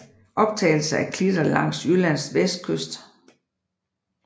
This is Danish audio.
Optagelser af klitter langs Jyllands vestkyst